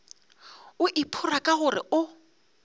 o iphora ka gore o